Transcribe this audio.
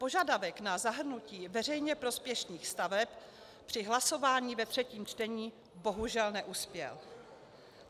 Požadavek na zahrnutí veřejně prospěšných staveb při hlasování ve třetím čtení bohužel neuspěl.